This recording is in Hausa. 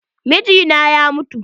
Mijina na ya mutu.